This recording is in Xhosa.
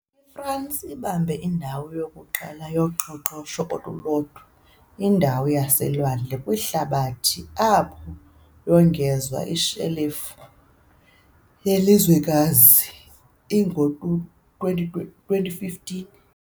IFransi ibambe indawo yokuqala yoqoqosho olulodwa, indawo yaselwandle, kwihlabathi, apho yongezwa ishelufu yelizwekazi ingo-2015 .